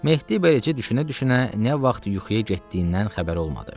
Mehdi beləcə düşünə-düşünə nə vaxt yuxuya getdiyindən xəbəri olmadı.